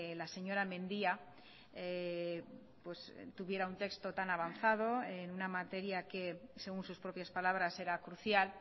la señora mendía tuviera un texto tan avanzado en una materia que según sus propias palabras era crucial